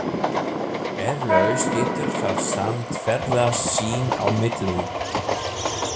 Eflaust getur það samt ferðast sín á milli.